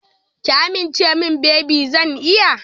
Ki amince min baby zan iya.